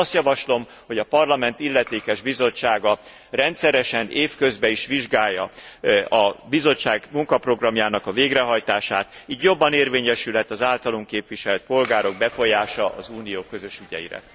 Ezért azt javaslom, hogy a Parlament illetékes bizottsága rendszeresen év közben is vizsgálja a Bizottság munkaprogramjának a végrehajtását, így jobban érvényesülhet az általunk képviselt polgárok befolyása az Unió közös ügyeire.